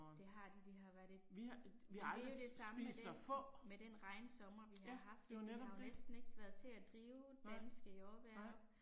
Det har de, de har været et. Men det er jo det samme med den, med den regnsommer vi har haft, det har jo næsten ikke været til at drive danske jordbær op